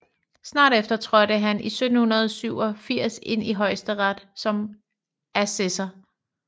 Snart efter trådte han i 1787 ind i Højesteret som assessor